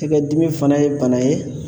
Tɛgɛ dimi fana ye bana ye